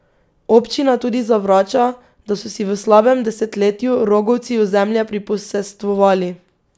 Občina tudi zavrača, da so si v slabem desetletju rogovci ozemlje priposestvovali.